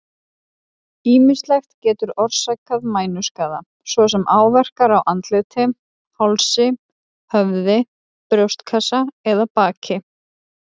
Ýmislegt getur orsakað mænuskaða, svo sem áverkar á andliti, hálsi, höfði, brjóstkassa eða baki.